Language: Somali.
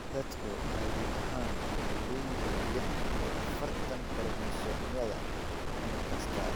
Dadku caadi ahaan waxay leeyihiin lix iyo afartan koromosoomyada unug kasta.